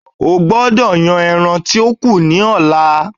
Ó gbọdọ̀ yan ẹran tí ó kù ní ọ̀la.